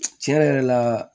Tiɲɛ yɛrɛ la